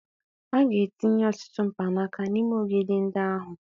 A ga-etinye ọtụtụ mkpanaka n'ime ogidi ndị ahụ